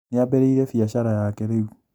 Nĩambĩrĩirie biacara yake rĩu